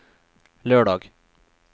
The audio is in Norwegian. lørdag